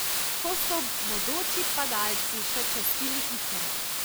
Ko so bodoči padalci še častili Ikarja.